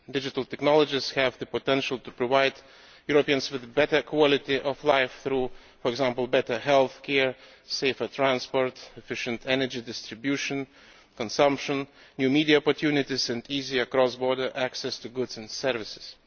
Digital technologies have the potential to provide Europeans with a better quality of life through, for example, better healthcare, safer transport, efficient energy distribution, consumption, new media opportunities and easier cross border access to goods and services.